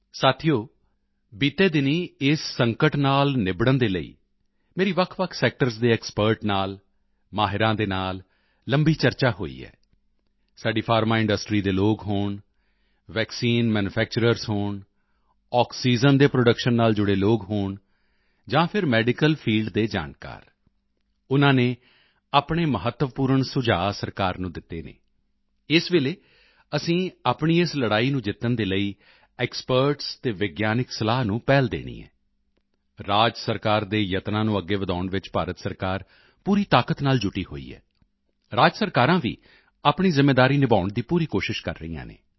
ਸਾਥੀਓ ਬੀਤੇ ਦਿਨੀਂ ਇਸ ਸੰਕਟ ਨਾਲ ਨਿਬੜਨ ਦੇ ਲਈ ਮੇਰੀ ਵੱਖਵੱਖ ਸੈਕਟਰਜ਼ ਦੇ ਐਕਸਪਰਟ ਦੇ ਨਾਲ ਮਾਹਿਰਾਂ ਦੇ ਨਾਲ ਲੰਬੀ ਚਰਚਾ ਹੋਈ ਹੈ ਸਾਡੀ ਫਾਰਮੇਂਡਸਟਰੀ ਦੇ ਲੋਕ ਹੋਣ ਵੈਕਸੀਨ ਮੈਨੂਫੈਕਚਰਜ਼ ਹੋਣ ਆਕਸੀਜਨ ਦੇ ਪ੍ਰੋਡਕਸ਼ਨ ਨਾਲ ਜੁੜੇ ਲੋਕ ਹੋਣ ਜਾਂ ਫਿਰ ਮੈਡੀਕਲ ਫੀਲਡ ਦੇ ਜਾਣਕਾਰ ਉਨ੍ਹਾਂ ਨੇ ਆਪਣੇ ਮਹੱਤਵਪੂਰਨ ਸੁਝਾਅ ਸਰਕਾਰ ਨੂੰ ਦਿੱਤੇ ਹਨ ਇਸ ਵੇਲੇ ਅਸੀਂ ਆਪਣੀ ਇਸ ਲੜਾਈ ਨੂੰ ਜਿੱਤਣ ਦੇ ਲਈ ਐਕਸਪਰਟਸ ਅਤੇ ਵਿਗਿਆਨਿਕ ਸਲਾਹ ਨੂੰ ਪਹਿਲ ਦੇਣੀ ਹੈ ਰਾਜ ਸਰਕਾਰ ਦੇ ਯਤਨਾਂ ਨੂੰ ਅੱਗੇ ਵਧਾਉਣ ਵਿੱਚ ਭਾਰਤ ਸਰਕਾਰ ਪੂਰੀ ਤਾਕਤ ਨਾਲ ਜੁਟੀ ਹੋਈ ਹੈ ਰਾਜ ਸਰਕਾਰਾਂ ਵੀ ਆਪਣੀ ਜ਼ਿੰਮੇਵਾਰੀ ਨਿਭਾਉਣ ਦੀ ਪੂਰੀ ਕੋਸ਼ਿਸ਼ ਕਰ ਰਹੀਆਂ ਹਨ